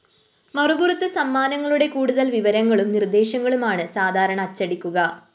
മറുപുറത്ത് സമ്മാനങ്ങളുടെ കൂടുതല്‍ വിവരങ്ങളും നിര്‍ദ്ദശങ്ങളും അണ് സാധരണ അച്ചടിക്കുക